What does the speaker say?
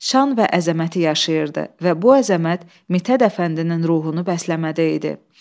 Şan və əzəməti yaşayırdı və bu əzəmət Mithət Əfəndinin ruhunu bəsləməkdə idi.